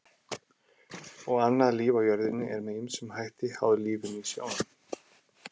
Og annað líf á jörðinni er með ýmsum hætti háð lífinu í sjónum.